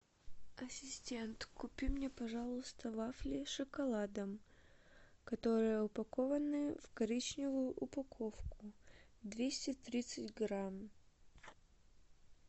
ассистент купи мне пожалуйста вафли с шоколадом которые упакованы в коричневую упаковку двести тридцать грамм